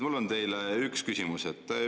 Mul on teile üks küsimus.